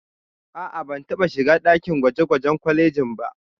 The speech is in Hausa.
A'a, ban taɓa shiga ɗakin gwaje-gwajen kwalejin ba.